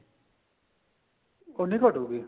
ਉੰਨੀ ਘੱਟੂਗੀ